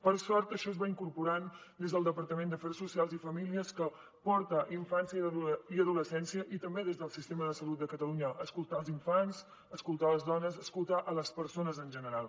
per sort això es va incorporant des del departament d’afers socials i famílies que porta infància i adoles cència i també des del sistema de salut de catalunya escoltar els infants escoltar les dones escoltar les persones en general